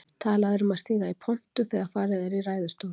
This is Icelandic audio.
Talað er um að stíga í pontu þegar farið er í ræðustól.